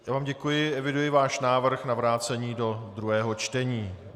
Já vám děkuji, eviduji váš návrh na vrácení do druhého čtení.